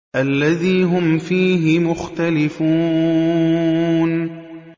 الَّذِي هُمْ فِيهِ مُخْتَلِفُونَ